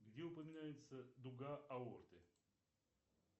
где упоминается дуга аорты